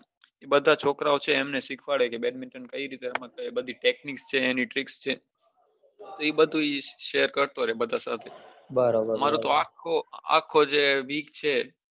બઘા છોકરા છે એમને સીખાવાડે badminton કઈ રીતે રમતા એ બઘી technic છે tricks છે એ બઘુ share કરતો રહે બઘા સાથે મએઓ તો આખો જે week છે